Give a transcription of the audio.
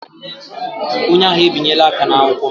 Onye agha ebinyela aka n'akwụkwọ m.